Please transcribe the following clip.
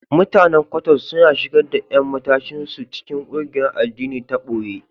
Mutanen Kwottos suna shigar da ƴan matashin su cikin ƙungiyar addini ta boye.